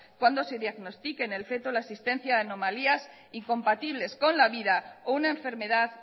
cuando se diagnostique en el feto la existencia de anomalías incompatibles con la vida o una enfermedad